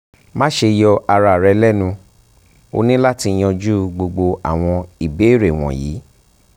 maṣe yọ ara rẹ lẹnu o ni lati yanju gbogbo awọn ibeere wọnyi